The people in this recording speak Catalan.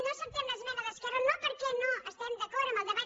no acceptem l’esmena d’esquerra no perquè no estiguem d’acord amb el debat